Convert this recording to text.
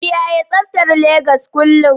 kiyaye tsabtar Legas kullum